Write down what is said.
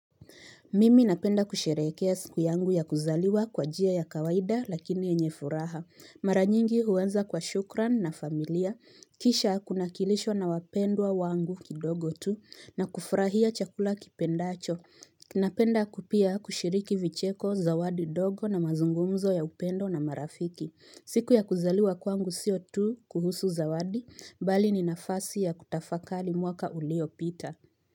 Mimi napenda kusherehekea siku yangu ya kuzaliwa kwa njia ya kawaida lakini yenye furaha. Mara nyingi huanza kwa shukran na familia. Kisha kuna kilisho na wapendwa wangu kidogo tu, na kufurahia chakula kipendacho. Napenda ku pia kushiriki vicheko, zawadi dogo, na mazungumzo ya upendo na marafiki. Siku ya kuzaliwa kwangu sio tu kuhusu zawadi, bali ni nafasi ya kutafakari mwaka ulio pita.